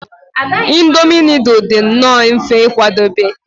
Indomi nudul dị nnọọ mfe ịkwadebe